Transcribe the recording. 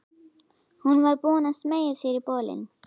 Hún var búin að smeygja sér í bolinn.